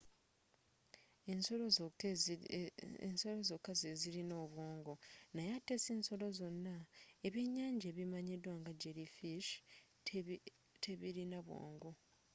ensolo zokka zezilina obwongo naye ate sinsolo zonna; ebyenyanja ebimanyidwa nga jelly fish tebilina bwongo